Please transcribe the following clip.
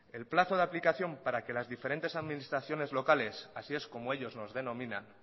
el plazo de aplicación para que las diferentes administraciones locales así es como ellos nos denominan